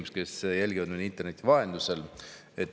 Head inimesed, kes jälgivad meid interneti vahendusel!